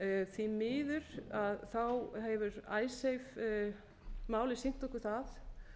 því miður hefur icesave málið sýnt okkur það